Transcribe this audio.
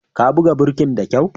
Ka buga birkin da kyau!